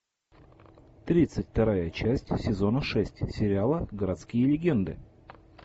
тридцать вторая часть сезона шесть сериала городские легенды